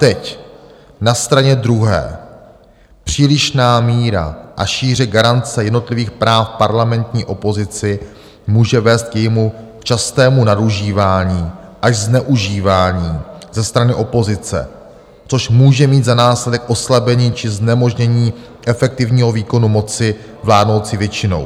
Teď na straně druhé: "Přílišná míra a šíře garance jednotlivých práv parlamentní opozice může vést k jejímu častému nadužívání až zneužívání ze strany opozice, což může mít za následek oslabení či znemožnění efektivního výkonu moci vládnoucí většinou.